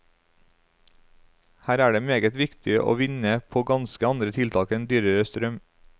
Her er det meget å vinne på ganske andre tiltak enn dyrere strøm.